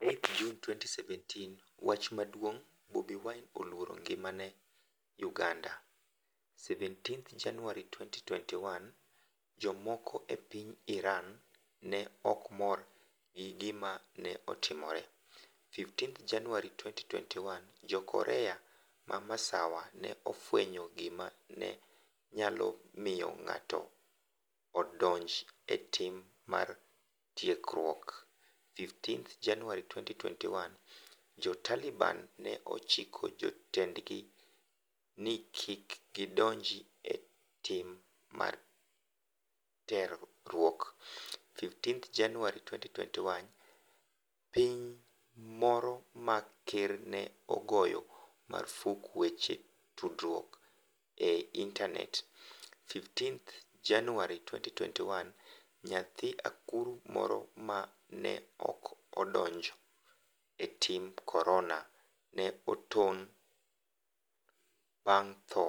"8 Jun 2017 Wach maduong' Bobi Wine 'oluoro ngimane' Uganda17 Januar 2021 Jomoko e piny Iran ne ok mor gi gima ne otimore 15 Januar 2021 Jo-Korea ma Masawa ne ofwenyo gima ne nyalo miyo ng'ato odonj e tim mar terruok15 Januar 2021 Jo-Taliban ne ochiko jotendgi ni kik gidonj e tim mar terruok15 Januar 2021 Piny moro ma ker ne ogoyo marfuk weche tudruok e intanet15 Januar 2021 Nyathi akuru moro ma ne 'ok odonj e tim Corona' ne otony bang' tho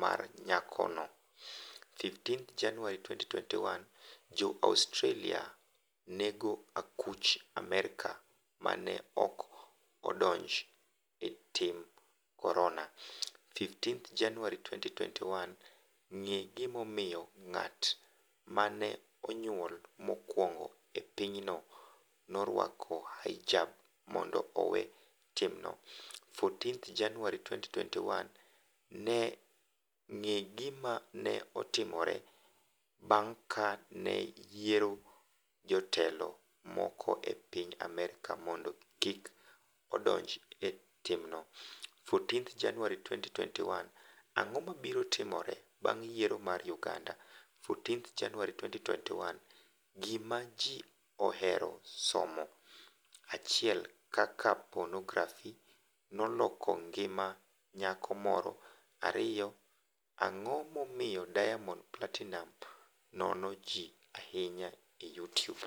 mar nyakono15 Januar 2021 Jo-Australia nego akuch Amerka ma ne 'ok odonj e tim Corona'15 Januar 2021 Ng'e gimomiyo ng'at ma ne onyuol mokwongo e pinyno norwako hijab 'mondo owe timno'14 Januar 2021 Ng'e gima ne otimore bang' ka ne oyier jatelo moro e piny Amerka mondo kik odonj e timno? 14 Januar 2021 Ang'o mabiro timore bang' yiero mar Uganda? 14 Januar 2021 Gima Ji Ohero Somo 1 Kaka Ponografi Noloko Ngima Nyako Moro 2 Ang'o Momiyo Diamond Platinumz Nono Ji Ahinya e Youtube?